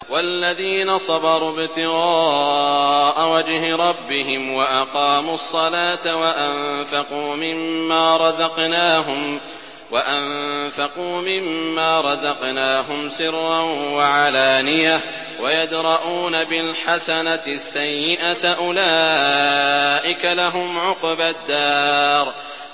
وَالَّذِينَ صَبَرُوا ابْتِغَاءَ وَجْهِ رَبِّهِمْ وَأَقَامُوا الصَّلَاةَ وَأَنفَقُوا مِمَّا رَزَقْنَاهُمْ سِرًّا وَعَلَانِيَةً وَيَدْرَءُونَ بِالْحَسَنَةِ السَّيِّئَةَ أُولَٰئِكَ لَهُمْ عُقْبَى الدَّارِ